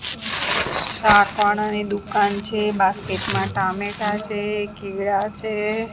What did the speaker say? શાક વાળાની દુકાન છે બાસ્કેટ માં ટામેટા છે કેળા છે.